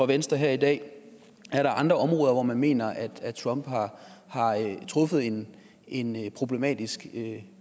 venstre her i dag er der andre områder hvor man mener at trump har truffet en en problematisk